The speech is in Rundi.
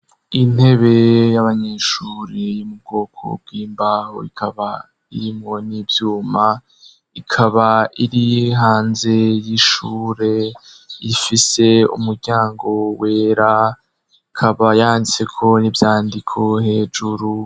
Kw'ishure rya nkaminuzanigako hari abanyeshure bashika ibihumbi bibiri harimwo abagabo abagore emisore n'inkumi, kandi iryo shure rikaba rifatanye n'ibitaro bitaho abarwaye.